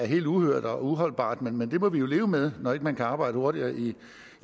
helt uhørt og uholdbart men det må vi jo leve med når man ikke kan arbejde hurtigere i